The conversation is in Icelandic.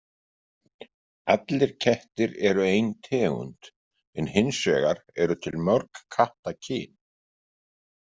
Allir kettir eru ein tegund en hins vegar eru til mörg kattakyn.